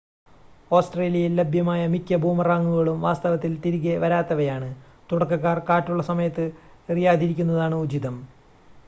ഓസ്‌ട്രേലിയയിൽ ലഭ്യമായ മിക്ക ബൂമറാങ്ങുകളും വാസ്തവത്തിൽ തിരികെ വരാത്തവയാണ് തുടക്കക്കാർ കാറ്റുള്ള സമയത്ത് എറിയാതിരിക്കുന്നതാണ് ഉചിതം